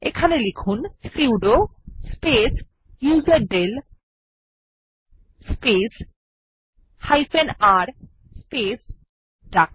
এখানে লিখুন sudo space userdel space r space ডাক